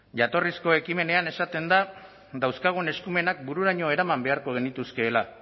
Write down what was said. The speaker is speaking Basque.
jatorrizko ekimenean esaten da dauzkagun eskumenak bururaino eraman beharko genituzkeela